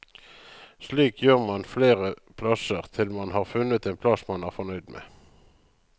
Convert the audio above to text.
Slik gjør man flere plasser, til man har funnet en plass man er fornøyd med.